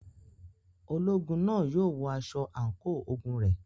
Ológun náà yóò wọ aṣọ àǹkóò ogun rẹ̀.